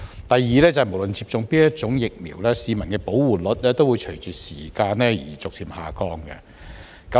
第二，無論接種哪一種疫苗，市民的保護率也會隨着時間而逐漸下降。